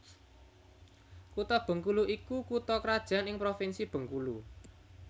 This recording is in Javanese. Kutha Bengkulu iku kutha krajan ing Provinsi Bengkulu